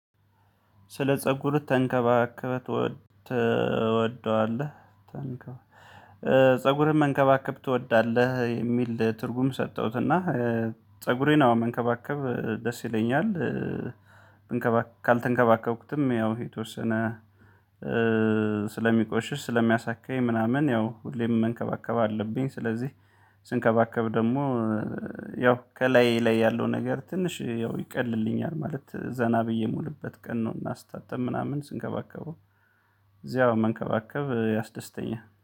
ስለ ፀጉር ተንከባከበ ትወደዋለህ? ፀጉርም መንከባከብ ትወዳለህ የሚል ትርጉም ሰጠሁት። እና ፀጉሬን አዎ መንከባከብ ደስ ይለኛል። እንከባ ካልተንከባከብኩትም ያው የተወሰነ ስለሚቆሽሽ ስለሚያሳክከኝ ምናምን ያው ሁሌም መንከባከብ አለብኝ። ስለዚህ ስንከባከብ ደግሞ ያው ከላይ ላይ ያለው ነገር ትንሽ ያው ይቀልልኛል ማለት ዘና ብዬ ምውልበት ቀን ነው። እና ስታጠብ ምናምን ስንከባከበው እዚያው መንከባከብ ያስደስተኛል